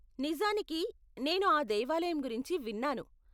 నిజానికి, నేను ఆ దేవాలయం గురించి విన్నాను.